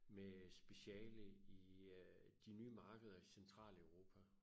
Med speciale i øh de nye markeder i Centraleuropa